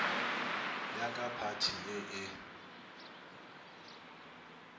ya ka phathi ye e